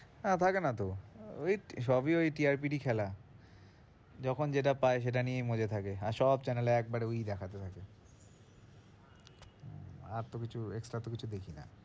হ্যাঁ, থাকে না তো, ওই সবই ওই TRP র খেলা যখন যেটা পায় সেটা নিয়েই মজে থাকে, আর সব channel এ একবারে ওই দেখাবে আগে আর তো কিছু extra তো কিছু দেখি না।